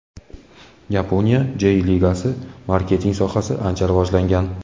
Yaponiya Jey Ligasida marketing sohasi ancha rivojlangan.